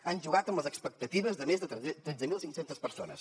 han jugat amb les expectatives de més de tretze mil cinc cents persones